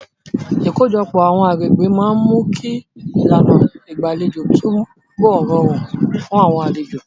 Ìkójọpọ̀ àwọn agbègbè máa ń mú kí ìlànà ìgbàlejò túbọ̀ rọrùn fún àwọn èrò.